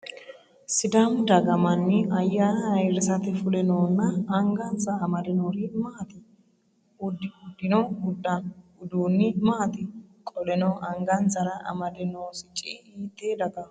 Sidaamu daga manni ayaanna ayirisate fule noonna angansa amade noori maati? Udidhino uduunni maati? Qoleno angansara amade noo sicci hiite dagaho?